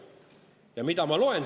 Ja mida ma loen?